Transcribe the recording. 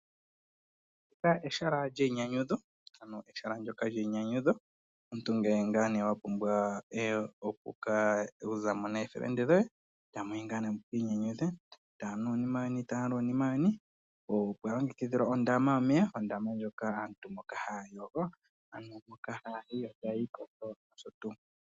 Ehala lyeyinyanyudho, uuna omuntu wa pumbwa okuza mo nookuume koye. Ohamu yi mu ka inyanyudhe, tamu nu nokulya uunima weni. Ohapu kala pwa longekidhwa wo ondama yomeya moka aantu haya yogo.